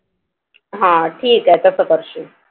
हा ठीक आहे तस करशील.